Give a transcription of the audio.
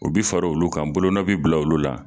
U bi far'olu kan, bolo nɔ bɛ bila olu la.